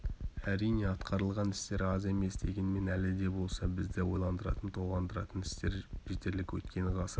әрине атқарылған істер аз емес дегенмен әлі де болса бізді ойландыратын толғандыратын істер жетерлік өйткені ғасыр